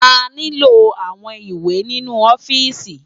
Àniló áwòn iwé ninú òfìsí